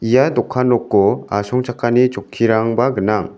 ia dokan noko asongchakani chokkirangba gnang.